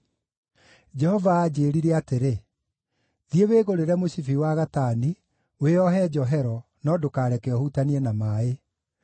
Jehova aanjĩĩrire atĩrĩ: “Thiĩ wĩgũrĩre mũcibi wa gatani, wĩohe njohero, no ndũkareke ũhutanie na maaĩ.”